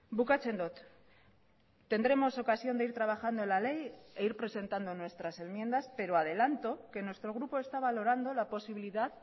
bukatzen dut tendremos ocasión de ir trabajando en la ley e ir presentando nuestras enmiendas pero adelanto que nuestro grupo está valorando la posibilidad